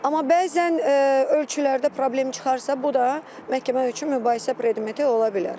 Amma bəzən ölçülərdə problem çıxarsa, bu da məhkəmə üçün mübahisə predmeti ola bilər.